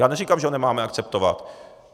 Já neříkám, že ho nemáme akceptovat.